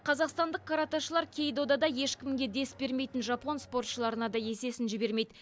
қазақстандық каратэшілар кей додада ешкімге дес бермейтін жапон спортшыларына да есесін жібермейді